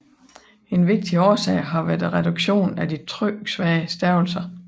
En vigtig årsag har været reduktionen af de tryksvage stavelser